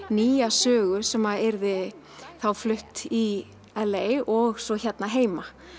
nýja sögu sem yrði þá flutt í og svo hérna heima